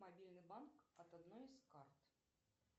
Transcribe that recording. мобильный банк от одной из карт